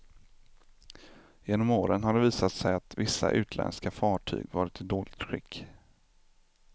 Genom åren har det visat sig att vissa utländska fartyg varit i dåligt skick.